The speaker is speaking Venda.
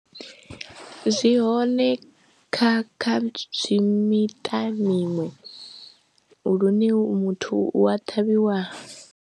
Zwi hone kha kha tswii miṱa miṅwe lune muthu u a ṱhavhiwa.